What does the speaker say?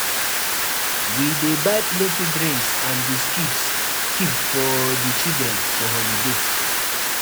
We dey buy plenty drinks and biscuits keep for di children for holiday.